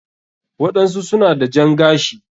waɗansu suna da jan gashi.